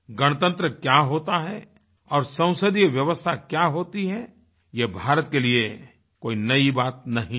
गणतंत्र क्या होता है और संसदीय व्यवस्था क्या होती है ये भारत के लिए कोई नई बात नहीं है